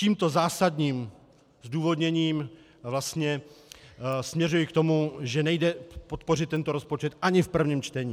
Tímto zásadním zdůvodněním vlastně směřuji k tomu, že nejde podpořit tento rozpočet ani v prvním čtení.